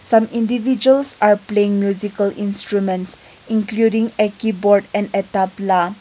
some individuals are playing musical instruments including a keyboard and a tabala.